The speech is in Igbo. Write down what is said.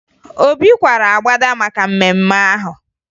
Obi kwara agbada maka mmemme ahụ